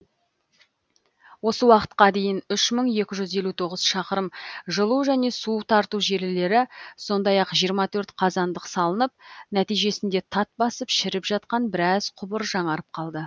осы уақытқа дейін үш мың екі жүз елу тоғыз шақырым жылу және су тарту желілері сондай ақ жиырма төрт қазандық салынып нәтижесінде тат басып шіріп жатқан біраз құбыр жаңарып қалды